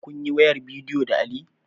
Kunyi wayar bidiyo da Ali?